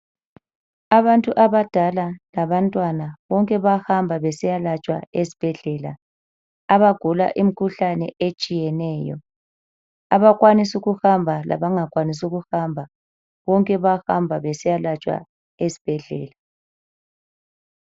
Abantu abadala labantwana bonke bayahamba besiyalatshwa esibhedlela abagula imikhuhlane etshiyeneyo. Abakwanisa ukuhamba labangakwanisi ukuhamba bonke bayahamba besiyalatshwa esibhedlela.